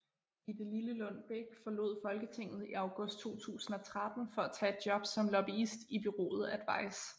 Gitte Lillelund Bech forlod Folketinget i august 2013 for at tage et job som lobbyist i bureauet Advice